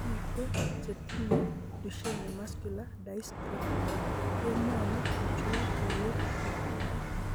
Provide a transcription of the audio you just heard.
Biko che tinye Duchenne muscular dystrophy kemwoni kochul borwek kwai.